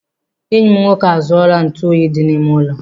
Enyi m nwoke arụziela ntụ oyi dị n'ime ụlọ